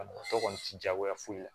Banabagatɔ kɔni tɛ jagoya foyi la